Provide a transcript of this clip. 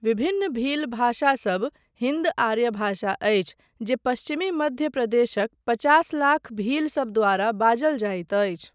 विभिन्न भील भाषासब हिन्द आर्य भाषा अछि जे पश्चिमी मध्य प्रदेशक पचास लाख भीलसब द्वारा बाजल जाइत अछि।